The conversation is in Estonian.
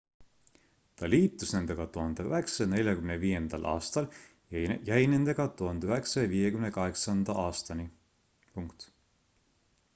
ta liitus nendega 1945 aastal ja jäi nendega 1958 aastani